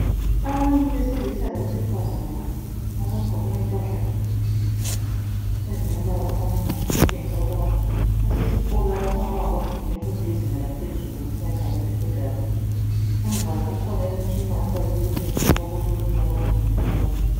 Abantu besilisa labesifazane abagqoke impahla ezingumbala ofananayo okutshengisa ukuba basesikolo lapha. Sokungaba ngabafundi bemfundo yezinga laphezulu abeSekhondari. Phambi kwabo kukhona umtshina ofakiwe okutshengisa ukuba kulokunye abakufundiswayo.